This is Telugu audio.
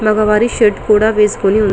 మగ వారి షర్ట్ కూడా వేసుకొని ఉంది --